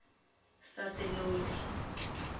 saseloli